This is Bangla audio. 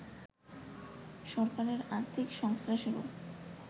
সরকারের আর্থিক সংশ্লেষেরও